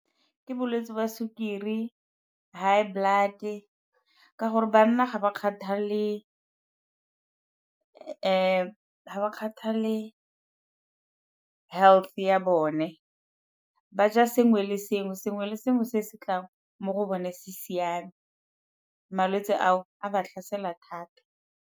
Ke bolwetsi ba sukiri, high blood-e, ka gore banna ga ba kgathalele health ya bone, ba ja sengwe le sengwe, sengwe le sengwe se se tlang mo go bone se siame. Malwetsi ao a ba tlhasela thata.